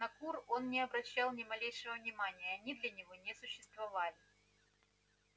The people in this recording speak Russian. на кур он не обращал ни малейшего внимания они для него не существовали